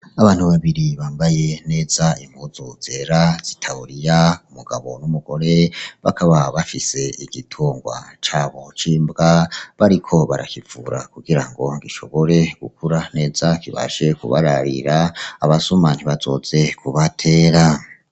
Abantu babiri bambaye neza impuzu zera z'itaburiya :umugabo n'umugore bakaba bafise igitungwa cabo c'imbwa bariko barakivura kugira ngo gishobore gukura neza kibashe kubararira abasuma ntibazoze kubatera.